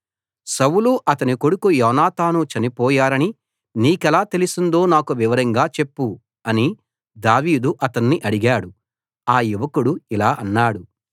సౌలు అతని కొడుకు యోనాతాను చనిపోయారని నీకెలా తెలిసిందో నాకు వివరంగా చెప్పు అని దావీదు అతణ్ణి అడిగాడు ఆ యువకుడు ఇలా అన్నాడు